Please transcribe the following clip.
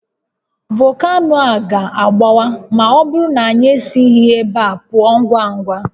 Volcano a ga-agbawa ma ọ bụrụ na anyị esighi ebe a pụọ ngwa ngwa